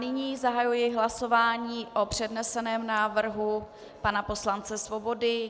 Nyní zahajuji hlasování o předneseném návrhu pana poslance Svobody.